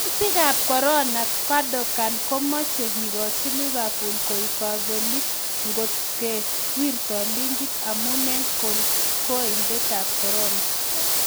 Kutietab korona: Gundogan komoche kigochi Liverpool koik kobelik ngot ke kiwirtoi ligit amun en kolkolindab korona